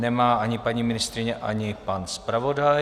Nemá ani paní ministryně, ani pan zpravodaj.